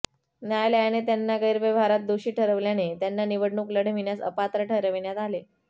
न्यायालयाने त्याांना गैरव्यहारात दोषी ठरवल्याने त्यांना निवडणूक लढविण्यास अपात्र ठरविण्यात आले